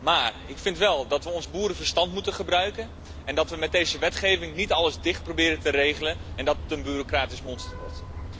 Maar ik vind wel dat we ons boerenverstand moeten gebruiken en dat we met deze wetgeving niet alles dicht proberen te regelen en dat het een bureaucratisch monster wordt.